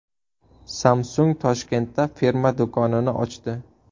Samsung Toshkentda firma do‘konini ochdi.